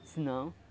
Se não.